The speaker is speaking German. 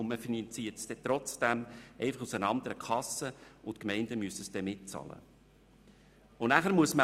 Trotzdem findet eine Finanzierung statt, einfach aus einer anderen Kasse, und die Gemeinden müssen die Kosten mittragen.